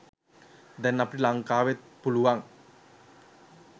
දැන් අපිට ලංකාවෙත් පුළුවන්